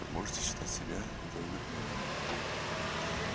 вы можете считать себя военнопленным